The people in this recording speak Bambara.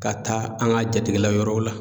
Ka taa an ka jatigila yɔrɔw la.